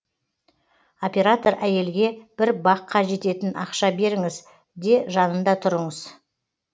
оператор әйелге бір бакка жететін ақша беріңіз де жанында тұрыңыз